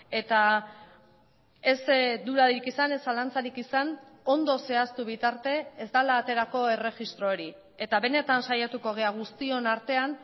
eta ez dudarik izan ez zalantzarik izan ondo zehaztu bitarte ez dela aterako erregistro hori eta benetan saiatuko gara guztion artean